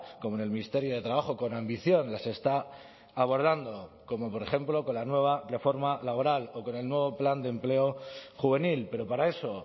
como en el ministerio de trabajo con ambición las está abordando como por ejemplo con la nueva reforma laboral o con el nuevo plan de empleo juvenil pero para eso